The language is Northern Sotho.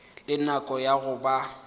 le nako ya go ba